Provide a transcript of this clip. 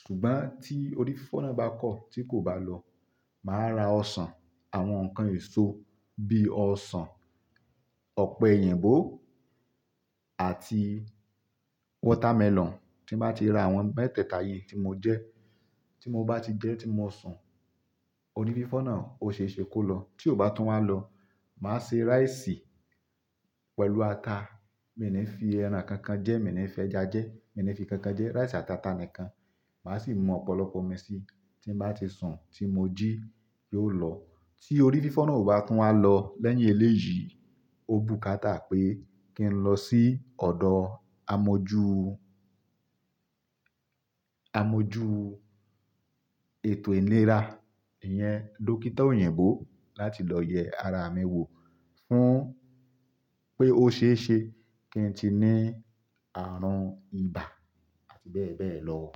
Ṣùgbọ́n tí orí fífọ́ náà bá kọ̀ tí kò bá lọ, màá ra ọsàn, àwọn ǹkan èso bí i ọsàn, ọ̀pẹ̀yìnbo àti watermelon. Tí mo bá ti ra àwọn mẹ́tẹ̀ẹ̀ta yìí tí mo jẹ, tí mo bá ti jẹ tí mo sùn, orí fífọ́ náà ó ṣe é ṣe kó lọ. Tí ó bá tún wá lọ, màá se rice pẹ̀lú ata. Mi ní fi ẹran kankan jẹ́, mi ò ní fi ẹja jẹ́, mi ò ní fi kankan jẹ́, rice àti ata nìkan. Màá sì mu ọ̀pọ̀lọpọ̀ omi sí i, tí mo bá ti sùn tí mo jí yóò lọ. Tí orí fífọ́ náà ò bá tún wá lọ lẹ́yìn eléyìí, ó bù káta pé kí ń lọ sí ọ̀dọ̀ amojú, amojú ètò ìlera, ìyẹn dókítà òyìnbó láti lọ yẹ ara mi wò fún pé ó ṣe é ṣe kí n ti ní ààrùn ibà àti bẹ́ẹ̀ bẹ́ẹ̀ lọ.